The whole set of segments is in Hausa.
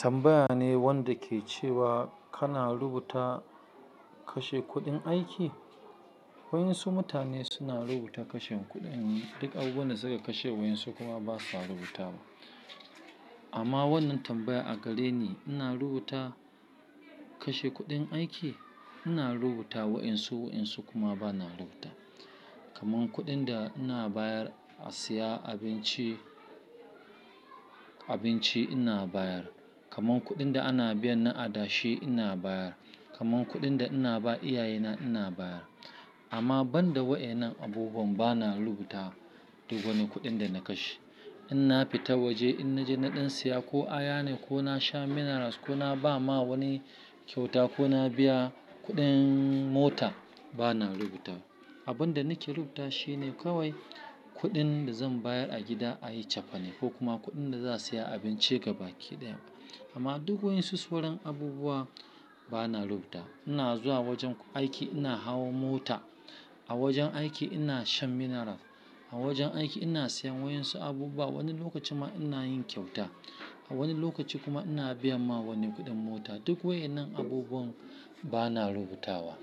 Tambaya ne wanda ke cewa kana rubuta kashe kuɗin aiki? Waƴansu mutane suna rubuta kashen kuɗin, duk abubuwan da suka kashe waƴansu kuma ba sa rubutawa. Amma wannan tambaya a gare ni ina rubuta kashe kuɗin aiki? Ina rubuta waƴansu waƴansu kuma bana rubutawa. Kaman kuɗin da ina bayar a siya abinci, abinci ina bayar. Kaman kuɗin da ana biyan na adashi ina bayar. Kaman kuɗin da ina ba iyaye na ina bayar. Amma banda waƴannan abubuwan bana rubuta duk wani kuɗin da na kashe. In na fita waje in naje na ɗan siya ko aya ne ko na sha minerals ko na ba ma wani kyauta ko na biya kuɗin mota bana rubutawa. Abun da nake rubuta shi ne kawai kuɗin da zan bayar a gida a yi cefane ko kuma kuɗin da za a siya abinci gaba ki ɗaya. Amma duk waƴansu sauran abubuwa bana rubuta. Ina zuwa wajen aiki ina hawa mota, a wajen aiki ina shan mineral, a wajen aiki ina siyan waƴansu abubuwa, wani lokacin ma ina yin kyauta. A wani lokaci kuma ina biya ma wani kuɗin mota. Duk waƴannan abubuwan bana rubutawa.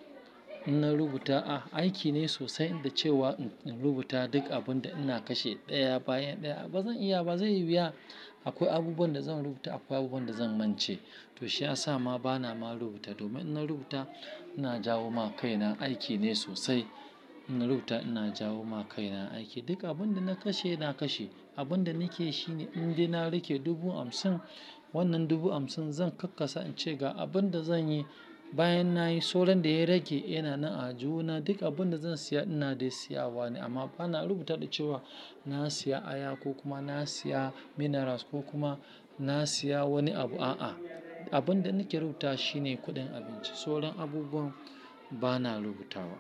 In na rubuta, a aiki ne sosai da cewa in rubuta duk abun da ina kashe ɗaya bayan ɗaya bazan iya ba, zai yi wuya. Akwai abubuwan da zan rubuta akwai abubuwan da zan mance. To shiyasa ma bana ma rubutawa domin in na rubuta ina jawo ma kai na aiki ne sosai. In na rubuta ina jawo ma kai na aiki. Duk abun da na kashe na kashe. Abun da nakeyi shine in dai na riƙe dubu hamsin wannan dubu hamsin zan kakkasa in ce ga abun da zanyi bayan nayi sauran da ya rage yana nan a aljihu na duk abun da zan siya ina dai siya wa ne amma bana rubuta da cewa na siya aya ko kuma na siya minerals ko kuma na siya wani abu a'a. Abun da nake rubuta shi ne kuɗin abinci. Sauran abubuwan bana rubutawa.